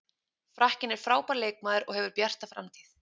Frakkinn er frábær leikmaður og hefur bjarta framtíð.